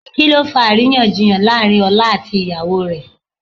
Kí ló fa àríyànjiyàn láàrín ọlá àti ìyàwó rẹ̀?